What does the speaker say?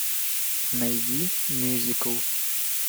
найди мюзикл